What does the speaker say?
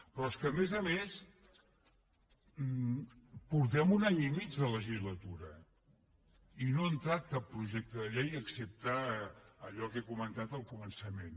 però és que a més a més portem un any i mig de legislatura i no ha entrat cap projecte de llei excepte allò que he comen·tat al començament